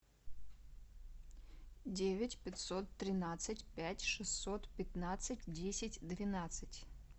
девять пятьсот тринадцать пять шестьсот пятнадцать десять двенадцать